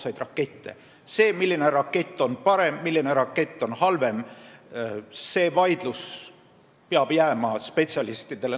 See vaidlus, milline rakett on parem ja milline rakett on halvem, peab jääma spetsialistidele.